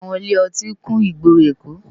Áwòn ilé òtín kún igbóró Ékó